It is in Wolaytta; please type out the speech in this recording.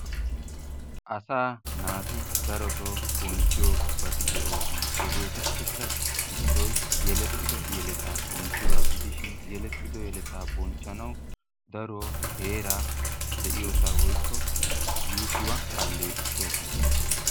Asaa naati daroto bonchchiyobati de'osona. Hegeetuppeka issoy yelettido yeletaa bonchchiyoga gidishin yelettido yeletaa bonchchanawu daro heeraa de'iyosa woykko yuushuwa alleeqisosona.